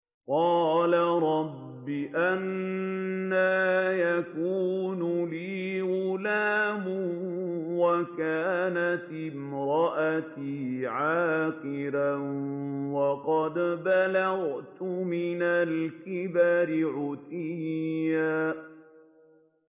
قَالَ رَبِّ أَنَّىٰ يَكُونُ لِي غُلَامٌ وَكَانَتِ امْرَأَتِي عَاقِرًا وَقَدْ بَلَغْتُ مِنَ الْكِبَرِ عِتِيًّا